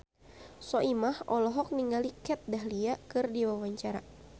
Soimah olohok ningali Kat Dahlia keur diwawancara